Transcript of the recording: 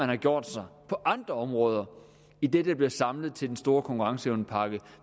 har gjort sig på andre områder i det der bliver samlet til den store konkurrenceevnepakke